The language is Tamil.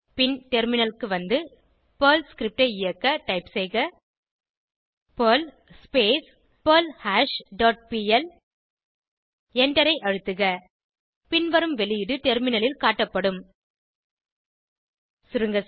பின் டெர்மினலுக்கு வந்து பெர்ல் ஸ்கிரிப்ட் ஐ இயக்க டைப் செய்க பெர்ல் பெர்ல்ஹாஷ் டாட் பிஎல் எண்டரை அழுத்துக பின்வரும் வெளியீடு டெர்மினலில் காட்டப்படும் சுருங்கசொல்ல